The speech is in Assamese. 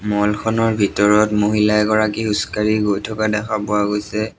ম'ল খনৰ ভিতৰত মহিলা এগৰাকী খোজকাঢ়ি গৈ থকা দেখা পোৱা গৈছে।